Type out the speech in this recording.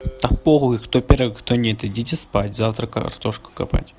да похуй кто первый кто нет идите спать завтра картошку копать